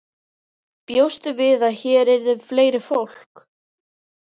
Bjóstu við að hér yrði fleira fólk?